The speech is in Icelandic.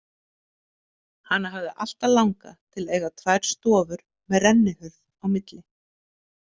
Hana hafði alltaf langað til að eiga tvær stofur með rennihurð á milli.